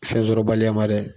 Fɛnsɔrɔbaliya ma dɛ